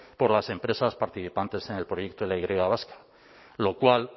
por las empresas participantes en el proyecto de la y vasca lo cual